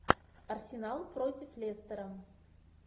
арсенал против лестера